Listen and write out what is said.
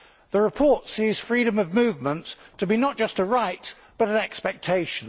The report sees freedom of movement to be not just a right, but an expectation.